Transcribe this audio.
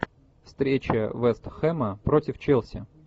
встреча вест хэма против челси